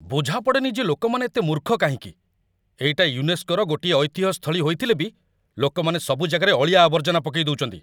ବୁଝା ପଡ଼େନି ଯେ ଲୋକମାନେ ଏତେ ମୂର୍ଖ କାହିଁକି? ଏଇଟା 'ୟୁନେସ୍କୋ'ର ଗୋଟିଏ ଐତିହ୍ୟ ସ୍ଥଳୀ ହେଇଥିଲେ ବି ଲୋକମାନେ ସବୁ ଜାଗାରେ ଅଳିଆ ଆବର୍ଜନା ପକେଇଦଉଚନ୍ତି ।